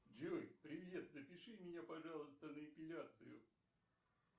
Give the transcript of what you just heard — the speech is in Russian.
джой привет запиши меня пожалуйста на эпиляцию